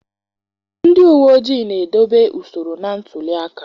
Ndị uwe ojii na-edobe usoro na ntuli aka